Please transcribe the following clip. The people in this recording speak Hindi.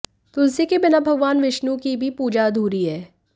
तुलसी के बिना भगवान विष्णु की भी पूजा अधूरी है